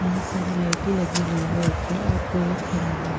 बहुत सारे लाइटी लगी हुई हो ऊपर और कोई एक खड़ा हुआ ।